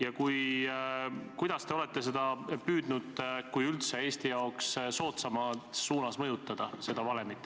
Ja kuidas, kui üldse, te olete püüdnud seda valemit Eesti jaoks soodsamas suunas mõjutada?